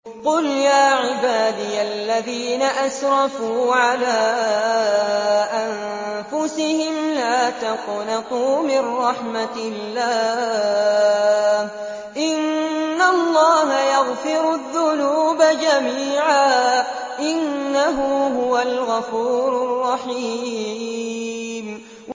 ۞ قُلْ يَا عِبَادِيَ الَّذِينَ أَسْرَفُوا عَلَىٰ أَنفُسِهِمْ لَا تَقْنَطُوا مِن رَّحْمَةِ اللَّهِ ۚ إِنَّ اللَّهَ يَغْفِرُ الذُّنُوبَ جَمِيعًا ۚ إِنَّهُ هُوَ الْغَفُورُ الرَّحِيمُ